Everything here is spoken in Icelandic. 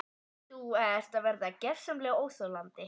Þú ert að verða gersamlega óþolandi!